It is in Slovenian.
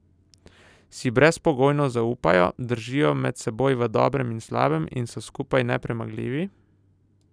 Si brezpogojno zaupajo, držijo med seboj v dobrem in slabem in so skupaj nepremagljivi?